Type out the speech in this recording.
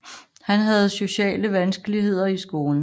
Han havde sociale vanskeligheder i skolen